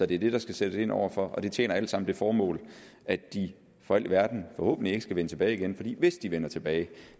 det det der skal sættes ind over for og det tjener alt sammen det formål at de for alt i verden forhåbentlig ikke skal vende tilbage igen for hvis de vender tilbage